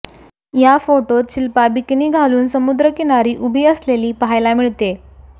या फोटोत शिल्पा बिकिनी घालून समुद्रकिनारी उभी असलेली पाहायला मिळतेय